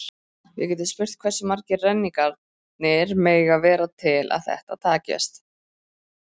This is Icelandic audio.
Við getum spurt hversu margir renningarnir mega vera til að þetta takist.